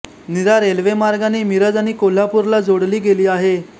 नीरा रेल्वेमार्गाने मिरज आणि कोल्हापूरला जोडली गेली आहे